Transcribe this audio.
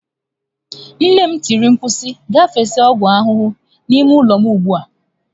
Nne m tiri mkpu si, gaa fesa ọgwụ ahụhụ n'ime ụlọ m ugbu a!